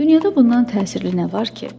Dünyada bundan təsirli nə var ki?